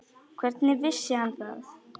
Hvernig vissi hann það?